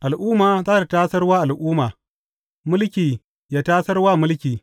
Al’umma za tă tasar wa al’umma, mulki yă tasar wa mulki.